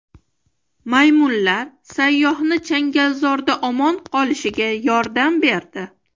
Maymunlar sayyohning changalzorda omon qolishiga yordam berdi.